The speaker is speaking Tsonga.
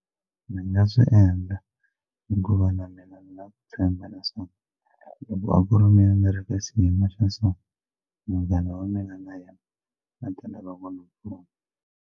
Ni nga swi endla hikuva na mina ni na ku tshemba leswaku loko a ku ri mina ni ri ka xiyimo xa so munghana wa mina na yena a ta lava ku ni pfuna.